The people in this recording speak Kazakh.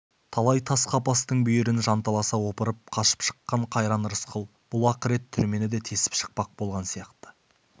талай тас қапастың бүйірін жанталаса опырып қашып шыққан қайран рысқұл бұл ақырет түрмені де тесіп шықпақ болған сияқты